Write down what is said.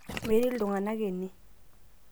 metii iltunganak ene